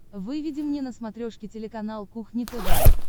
выведи мне на смотрешке телеканал кухня тв